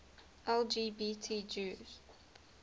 lgbt jews